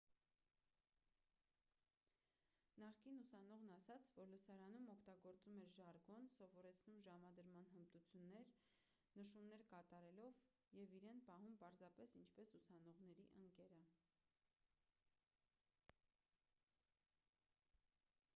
նախկին ուսանողն ասաց որ լսարանում օգտագործում էր ժարգոն սովորեցնում ժամադրման հմտություններ նշումներ կատարելով և իրեն պահում պարզապես ինչպես ուսանողների ընկերը